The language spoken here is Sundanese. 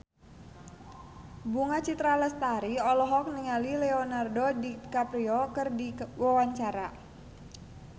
Bunga Citra Lestari olohok ningali Leonardo DiCaprio keur diwawancara